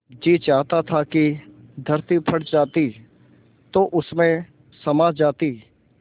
जी चाहता था कि धरती फट जाती तो उसमें समा जाती